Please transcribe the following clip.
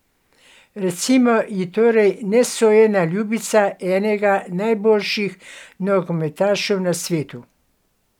Recimo ji torej nesojena ljubica enega najboljših nogometašev na svetu.